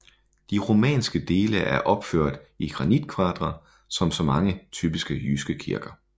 De romanske dele er opført i granitkvadre som så mange typiske jyske kirker